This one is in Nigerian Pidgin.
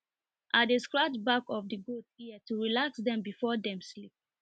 i dey scratch back of the goat ear to relax dem before dem sleep